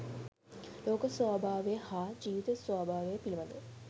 ලෝක ස්වභාවය හා ජීවිත ස්වභාවය පිළිබඳ